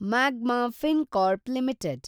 magma Fincorp limited